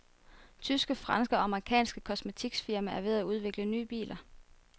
Tyske, franske og amerikanske kosmetikfirmaer er ved at udvikle nye biler.